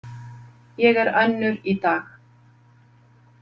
Ég er önnur í dag.